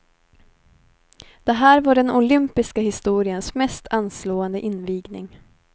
Det här var den olympiska historiens mest anslående invigning.